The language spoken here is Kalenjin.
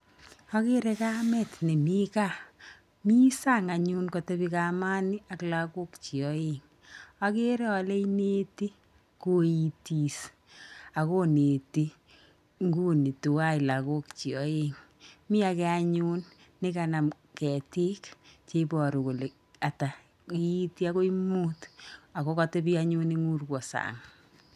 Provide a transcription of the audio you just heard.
Akere kamet nemi kaa. Mi sang anyun katebi kamani ak lakokchi aeng. Akere ale ineti koitis akoneti nguni tuwai lakokchi aeng. Mi ake anyun nekanam ketik cheibiru kole ata, iiti akoi mut ako katebi anyun eng urwo sang.